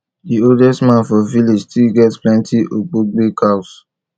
the oldest man for village still get plenti ogboge cows